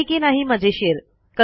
आहे की नाही मजेशीर